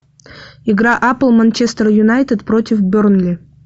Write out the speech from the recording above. игра апл манчестер юнайтед против бернли